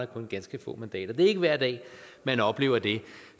kun ganske få mandater det er ikke hver dag man oplever det